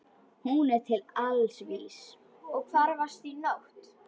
Hún er til alls vís.